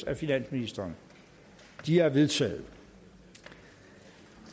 af finansministeren de er vedtaget